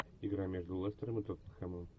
игра между лестером и тоттенхэмом